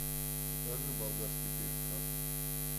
закажи болгарский перец красный